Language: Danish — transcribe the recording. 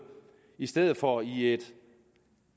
i stedet for i et